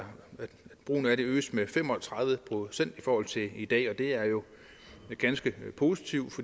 brugen af det øges med fem og tredive procent i forhold til i dag og det er jo ganske positivt